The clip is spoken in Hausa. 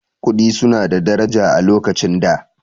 Kuɗi su na da daraja a lokacin da